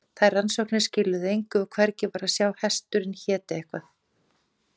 þær rannsóknir skiluðu engu og hvergi var að sjá að hesturinn héti eitthvað